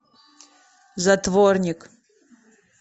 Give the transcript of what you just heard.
затворник